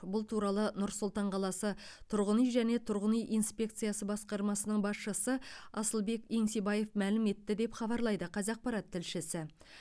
бұл туралы нұр сұлтан қаласы тұрғын үй және тұрғын үй инспекциясы басқармасының басшысы асылбек еңсебаев мәлім етті деп хабарлайды қазақпарат тілшісі